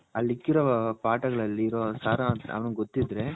all ಇಕ್ಕಿರೋ ಅಲ್ಲಿರೋ ಸಾರಾಂಶ ಅವನಿಗ್ ಗೊತಿದ್ರೆ